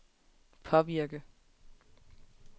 påvirke